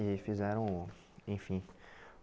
E fizeram, enfim.